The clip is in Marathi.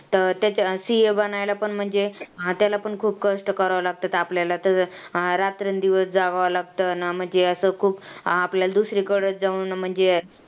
तर CA बनायला पण म्हणजे हा त्याला पण खूप कष्ट करावं लागतं आपल्याला त्याचं हा रात्रंदिवस जागावं लागतं. म्हणजे असं खूप आपल्याला दुसरीकडं जाऊन म्हणजे